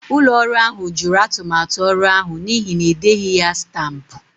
Ụlọ ọrụ ahụ jụrụ atụmatụ ọrụ ahụ n'ihi na e deghị ya stampụ.